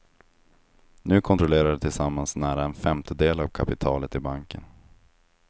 Nu kontrollerar de tillsammans nära en femtedel av kapitalet i banken.